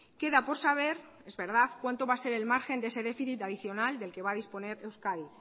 queda por saber es verdad cuánto va a ser el margen de ese déficit adicional del que va a disponer euskadi